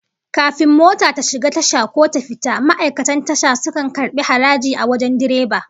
Kafin mota ta shiga tasha ko ta fita, ma'aikatan Tasha sukan karbi haraji a wajen direba